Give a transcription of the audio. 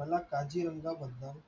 मला काजीरंगाबद्दल